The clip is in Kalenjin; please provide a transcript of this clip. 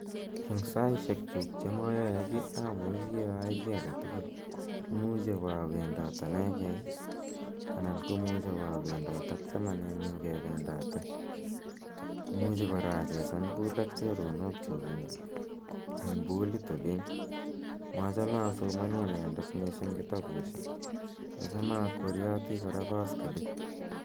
Eng' saishekchuk che mayae ki amuchi ayai ki age tugul. Imuchi awa awendat anegei anan ko muchi awa awendat ak chamamanenyu kependate. Imuchi kora achesan pool ak choronokchuk eng' poolit oli. Machame asomani anendet kotapushek , achame akweriyati kora paskilit.